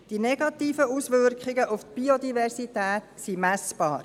Die negativen Auswirkungen auf die Biodiversität sind messbar.